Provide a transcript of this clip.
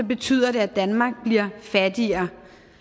betyder det at danmark bliver fattigere